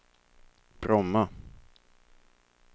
Bromma